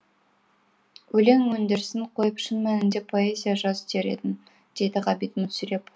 өлең өндірісін қойып шын мәнінде поэзия жаз дер едім деді ғабит мүсірепов